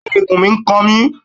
Bẹ́ẹ̀ni, ikùn mi n kan mi